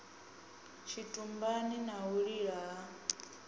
tshitumbani na u lila ha